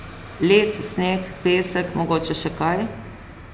Led, sneg, pesek, mogoče še kaj?